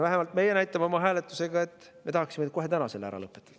Vähemalt meie näitame hääletusel, et me tahaksime kohe täna selle ära lõpetada.